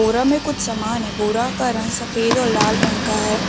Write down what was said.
बोरा में कुछ सामान है बोरा का रंग सफेद और लाल रंग का है ।